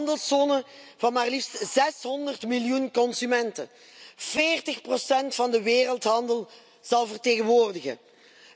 Er komt een handelszone van maar liefst 600 miljoen consumenten die 40 van de wereldhandel zal vertegenwoordigen.